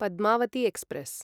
Padmavati express